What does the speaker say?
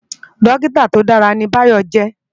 Dòkitá tó dàrá ni Bayo jè